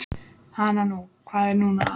Hana nú, hvað er nú að.